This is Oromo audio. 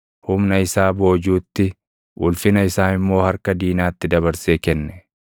Humna isaa boojuutti, ulfina isaa immoo harka diinaatti dabarsee kenne.